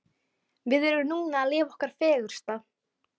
Við erum núna að lifa okkar fegursta.